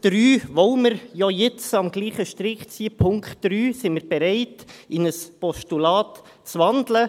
Weil wir ja jetzt am selben Strick ziehen, sind wir bereit, den Punkt 3 in ein Postulat zu wandeln.